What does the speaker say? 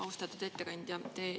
Austatud ettekandja!